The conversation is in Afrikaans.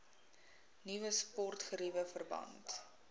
nuwe sportgeriewe verband